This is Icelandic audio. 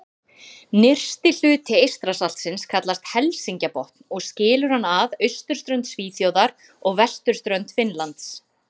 Nyrsti hluti Eystrasaltsins kallast Helsingjabotn og skilur hann að austurströnd Svíþjóðar og vesturströnd Finnlands.